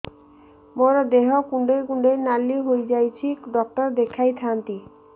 ମୋର ଦେହ କୁଣ୍ଡେଇ କୁଣ୍ଡେଇ ନାଲି ହୋଇଯାଉଛି ଡକ୍ଟର ଦେଖାଇ ଥାଆନ୍ତି